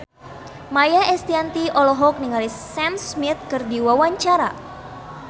Maia Estianty olohok ningali Sam Smith keur diwawancara